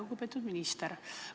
Lugupeetud minister!